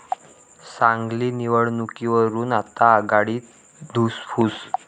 सांगली निवडणुकीवरून आता आघाडीत धुसफूस